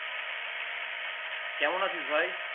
কেমন আছিস ভাই?